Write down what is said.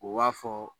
U b'a fɔ